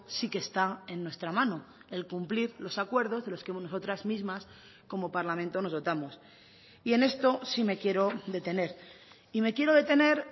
sí que está en nuestra mano el cumplir los acuerdos de los que nosotras mismas como parlamento nos dotamos y en esto sí me quiero detener y me quiero detener